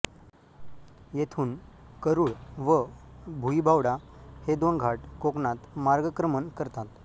येथून करूळ व भुईबावडा हे दोन घाट कोकणात मार्गक्रमण करतात